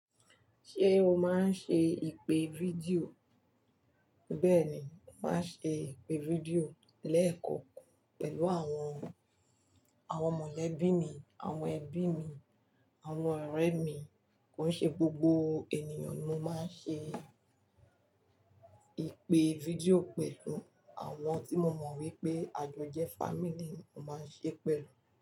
Ṣé o máa ń ṣe ìpè fídíò? Bẹ́ẹ̀ ni, màá ṣe ìpè fídíò lẹ́ẹ̀kankan pẹ̀lú àwọn, àwọn mọ̀lẹ́bí mi, àwọn ẹbí mi, àwọn ọ̀rẹ́ mi, ko n ṣe gbogbo ènìyàn ni mo máa ń ṣe ìpè fídíò pẹ̀lú. Àwọn tí mo mọ̀ wípé àjọjẹ family mo máa ń ṣe pẹ̀lú.